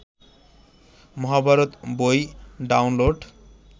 মহাভারত বই ডাউনলোড